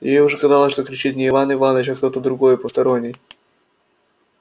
ей уже казалось что кричит не иван иваныч а кто-то другой посторонний